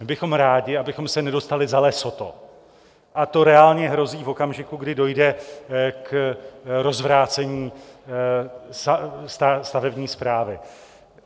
My bychom rádi, abychom se nedostali za Lesotho, a to reálně hrozí v okamžiku, kdy dojde k rozvrácení stavební správy.